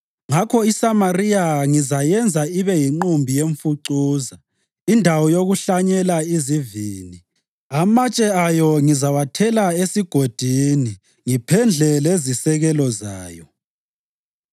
“Ngakho iSamariya ngizayenza ibe yinqumbi yemfucuza, indawo yokuhlanyela izivini. Amatshe ayo ngizawathela esigodini ngiphendle lezisekelo zayo.